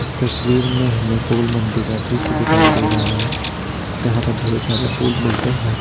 तस्वीर में हमें फूल मंडी का दृश्य दिखाई दे रहा है जहां पर ढेर सारे फूल मिलते हैं।